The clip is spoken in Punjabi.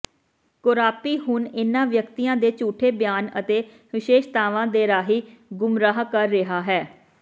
ਕੋਰਾਪੀ ਹੁਣ ਇਨ੍ਹਾਂ ਵਿਅਕਤੀਆਂ ਦੇ ਝੂਠੇ ਬਿਆਨ ਅਤੇ ਵਿਸ਼ੇਸ਼ਤਾਵਾਂ ਦੇ ਰਾਹੀਂ ਗੁੰਮਰਾਹ ਕਰ ਰਿਹਾ ਹੈ